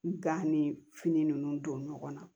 Gan ni fini ninnu don ɲɔgɔn na